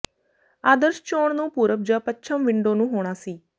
ਆਦਰਸ਼ ਚੋਣ ਨੂੰ ਪੂਰਬ ਜ ਪੱਛਮ ਵਿੰਡੋ ਨੂੰ ਹੋਣਾ ਸੀ